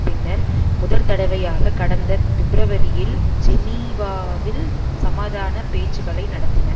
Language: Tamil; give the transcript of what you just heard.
பின்னர் முதற்தடவையாக கடந்த பிப்பிரவரியில் ஜெனீவாவில் சமாதான பேச்சுக்களை நடத்தின